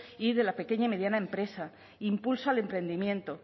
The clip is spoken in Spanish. y de la pequeña y mediana empresa impulso al emprendimiento